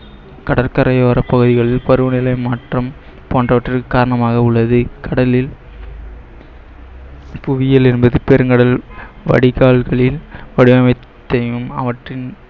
கடற்கரையோர பகுதிகளில் பருவநிலை மாற்றம் போன்றவற்றிற்கு காரணமாக உள்ளது கடலில் புவியியல் என்பது பெருங்கடல் வடிகால்களின் வடிவமைப்பையும் அவற்றின்